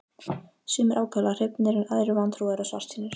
Sumir ákaflega hrifnir en aðrir vantrúaðir og svartsýnir.